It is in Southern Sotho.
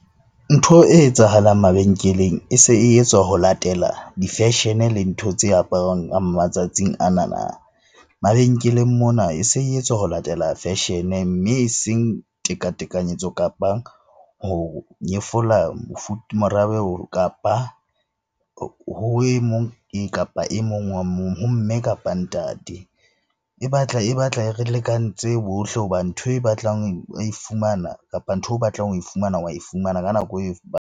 Ntho e etsahalang mabenkeleng e se e etswa ho latela di-fashion-e le ntho tse aparwang matsatsing anana. Mabenkeleng mona e se etswa ho latela fashion mme eseng teka-tekanyetso, kapa ho nyefola kapa ho emong kapa emong wa moo, ho mme kapa ntate. E batla e re lekantse bohle hobane ntho e batlang oe fumana, kapa ntho o batlang ho e fumana wa e fumana ka nako .